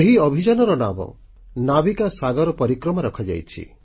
ଏହି ଅଭିଯାନର ନାମ ନାବିକ ସାଗର ପରିକ୍ରମା ରଖାଯାଇଛି